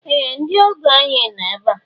Ee! Ndị ọgọ ànyị no ebe a.